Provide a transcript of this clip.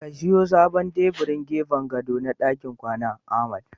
Ka siyo sabon tebirin gefen gado na dakin kwana, Ahmad